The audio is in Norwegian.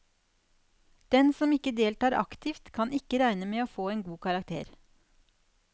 Den som ikke deltar aktivt, kan ikke regne med å få en god karakter.